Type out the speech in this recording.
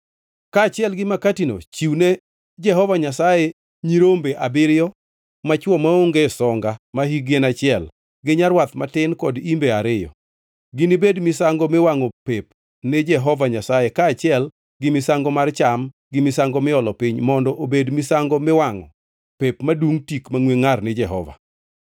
Kaachiel gi makatino chiwne Jehova Nyasaye nyirombe abiriyo machwo maonge songa mahikgi en achiel, gi nyarwath matin kod imbe ariyo. Ginibed misango miwangʼo pep ni Jehova Nyasaye kaachiel gi misango mar cham gi misango miolo piny mondo obed misango miwangʼo pep madungʼ tik mangʼwe ngʼar ni Jehova.